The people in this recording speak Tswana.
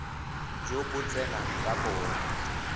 jo bo tseneng ka bona